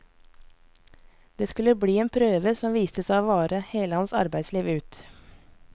Det skulle bli en prøve som viste seg å vare hele hans arbeidsliv ut.